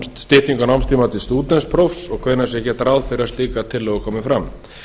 styttingu námstíma til stúdentsprófs og hvenær sé gert ráð fyrir að slíkar tillögur komi fram